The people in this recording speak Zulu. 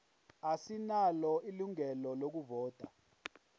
asinalo ilungelo lokuvota